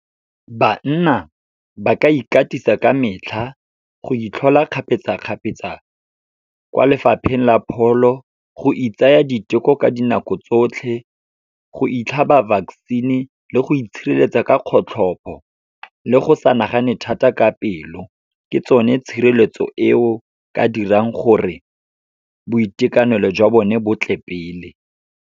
Banna, ba ka ikatisa ka metlha, go itlhola kgapetsa-kgapetsa kwa Lefapheng la Pholo, go itsaya diteko ka dinako tsotlhe, go itlhaba vaccine-e, le go itshireletsa ka kgotlhopho, le go sa nagane thata ka pelo. Ke tsone tshireletso e o ka dirang gore, boitekanelo jwa bone bo tle pele.